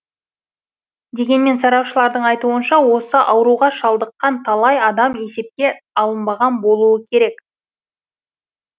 дегенмен сарапшылардың айтуынша осы ауруға шалдыққан талай адам есепке алынбаған болуы керек